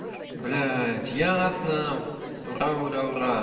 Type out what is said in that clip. блять ясно ура ура ура